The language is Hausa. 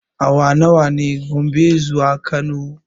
Awa nawa ne Gombe zuwa Kano?